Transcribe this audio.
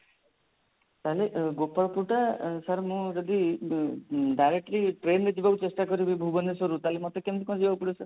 ତାହାଲେ ଅ ଗୋପାଳପୁର ଟା sir ମୁଁ ଯଦି ଉଁ directly train ରେ ଯିବାକୁ ଚେଷ୍ଟା କରିବି ଭୁବନେଶ୍ବରରୁ ତାହାଲେ ମୋତେ କେମିତି କଣ ଯିବାକୁ ପଡିବ sir